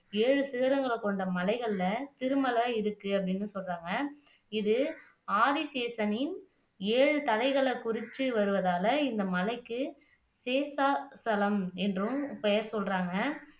ஏழு சிகரங்களைக் கொண்ட மலைகள்ல திருமலை இருக்கு அப்படின்னு சொல்றாங்க இது ஆதிசேஷனின் ஏழு தலைகளை குறிச்சு வருவதால இந்த மலைக்கு தீர்த்தா ஸ்தலம் என்றும் பெயர் சொல்றாங்க